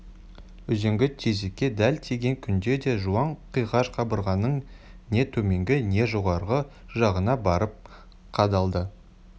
үзеңгі тесікке дәл тиген күнде де жуан қиғаш қабырғаның не төменгі не жоғарғы жағына барып қадалады